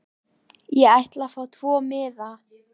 Ég ætla að fá tvo miða.